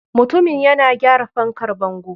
Mutumin yana gyara fankar bango.